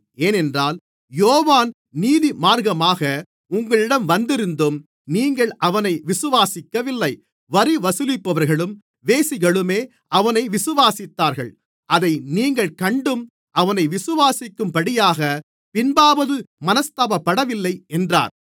ஏனென்றால் யோவான் நீதிமார்க்கமாக உங்களிடம் வந்திருந்தும் நீங்கள் அவனை விசுவாசிக்கவில்லை வரி வசூலிப்பவர்களும் வேசிகளுமோ அவனை விசுவாசித்தார்கள் அதை நீங்கள் கண்டும் அவனை விசுவாசிக்கும்படியாகப் பின்பாவது மனஸ்தாபப்படவில்லை என்றார்